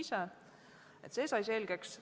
See sai selgeks.